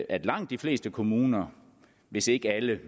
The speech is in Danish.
at langt de fleste kommuner hvis ikke alle det